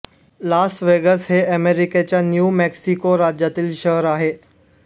लास Vegas हे अमेरिकेच्या New Mexico राज्यातील शहर आहे